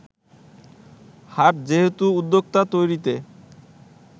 হাট যেহেতু উদ্যোক্তা তৈরিতে